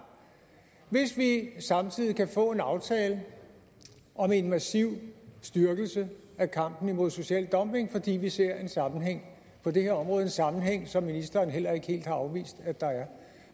hvis vi samtidig kan få en aftale om en massiv styrkelse af kampen mod social dumping fordi vi ser en sammenhæng på det her område en sammenhæng som ministeren heller ikke helt har afvist at der er